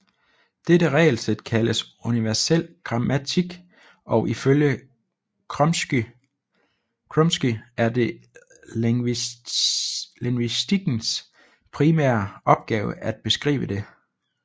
Dette regelsæt kaldes universel grammatik og ifølge Chomsky er det lingvistikkens primære opgave at beskrive det